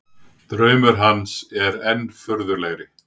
Draumur hans er enn furðulegri.